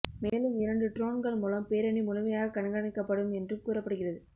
மேலும் இரண்டு ட்ரோன்கள் மூலம் பேரணி முழுமையாக கண்காணிக்கப்படும் என்றும் கூறப்படுகிறது